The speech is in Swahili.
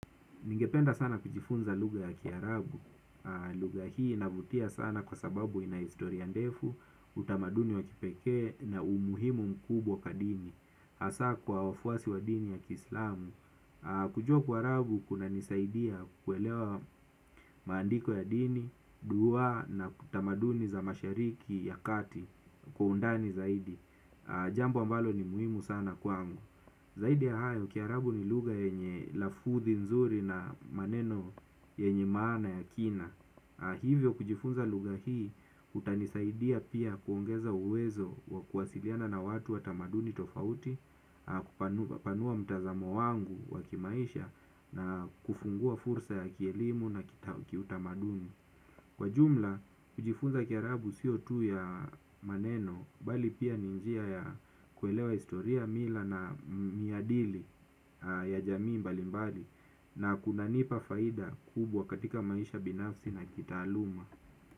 Ningependa sana kujifunza lugha ya kiarabu. Lugha hii inavutia sana kwa sababu ina historia ndefu, utamaduni wa kipekee na umuhimu mkubwa kwa dini hasa kwa wafuasi wa dini ya kiislamu. Kujua kiarabu kunanisaidia kuelewa maandiko ya dini, dua na tamaduni za mashariki ya kati kwa undani zaidi. Jambo ambalo ni muhimu sana kwangu. Zaidi ya hayo, kiarabu ni lugha yenye lafudhi nzuri na maneno yenye maana ya kina. Hivyo kujifunza lugha hii, utanisaidia pia kuongeza uwezo wa kuwasiliana na watu wa tamaduni tofauti panua mtazamo wangu wa kimaisha na kufungua fursa ya kielimu na utamaduni. Kwa jumla, kujifunza kiarabu sio tu ya maneno bali pia ni njia ya kuelewa historia, mila na maadili ya jamii mbali mbali na kunanipa faida kubwa katika maisha binafsi na kitaaluma.